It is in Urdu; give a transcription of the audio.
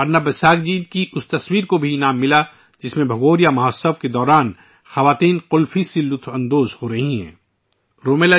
پرنب بساک جی کی ایک تصویر، جس میں خواتین بھگوریا تہوار کے دوران قلفی سے لطف اندوز ہو رہی ہیں، کو بھی ایوارڈ سے نوازا گیا